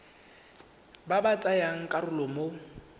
ba ba tsayang karolo mo